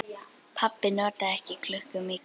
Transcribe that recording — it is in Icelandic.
Pabbi notaði ekki klukku mikið.